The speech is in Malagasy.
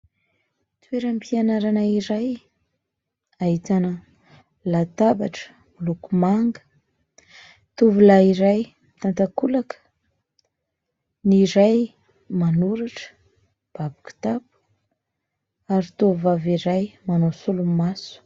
Toeram-pianarana iray ahitana latabatra miloko manga. Tovolahy iray mitan-takolaka, ny iray manoratra mibaby kitapo ary tovovavy iray manao solomaso.